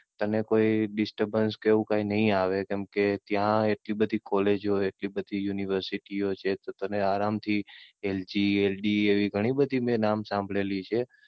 તને કોઈ Disturbance કે એવું કઈ નહી આવે કેમ કે ત્યાં એટલે બધી કોલેજો, એટલી બધી યુનિવર્સીટીઓ છે. તો તને આરામ થી LGLD એવી ઘણી બધી મેં નામ સાંભળેલી છે.